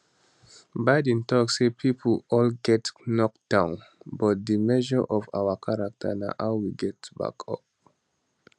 biden tok say pipo all get knocked down but di measure of our character na how we get back up